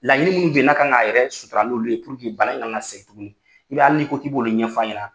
Laɲini minnu n'a kan k'a yɛrɛ sutura n'olu ye bana in kana na segin tuguni i b'a ye hali n'i ko k'i b'olu ɲɛf'a ɲɛna.